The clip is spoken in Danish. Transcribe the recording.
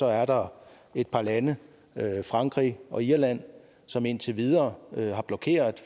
er der et par lande frankrig og irland som indtil videre har blokeret